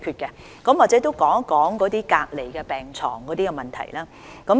或許我也談談隔離病床的問題。